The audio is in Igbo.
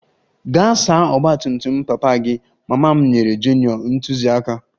Gaa saa ọgba tum tum papa gị! Mama m nyere junior ntụziaka